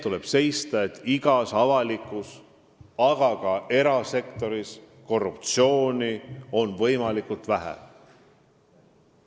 Tuleb seista selle eest, et avalikus sektoris, aga ka erasektoris oleks korruptsiooni võimalikult vähe.